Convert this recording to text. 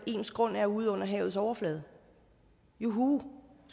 ens grund er ude under havets overflade juhu